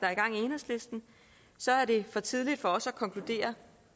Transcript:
er i gang i enhedslisten så er det for tidligt for os at konkludere